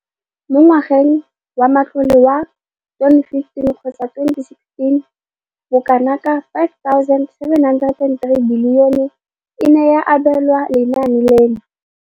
Mo ngwageng wa matlole wa 2015,16, bokanaka R5 703 bilione e ne ya abelwa lenaane leno.